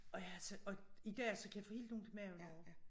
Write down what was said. Og jeg så og i dag så kan jeg få helt ondt i maven over det